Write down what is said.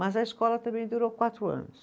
Mas a escola também durou quatro anos.